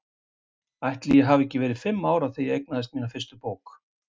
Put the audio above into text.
Ætli ég hafi ekki verið fimm ára þegar ég eignaðist mína fyrstu bók.